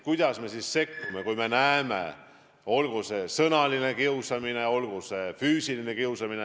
Õpilased sekkuvad, kui näevad kas sõnalist kiusamist või füüsilist kiusamist.